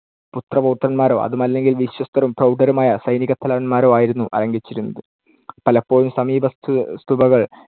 പുത്രപൗത്രരോ അതുമല്ലെങ്കിൽ വിശ്വസ്തരും പ്രൌഢരുമായ സൈനികത്തലവന്മാരോ ആയിരുന്നു അലങ്കരിച്ചിരുന്നത്. പലപ്പോഴും സമീപസ്ഥ സുബകൾ